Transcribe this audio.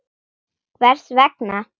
HVERS VEGNA?